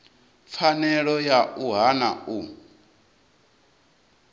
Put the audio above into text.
pfanelo ya u hana u